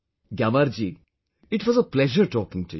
Gyamar ji, it was a pleasure talking to you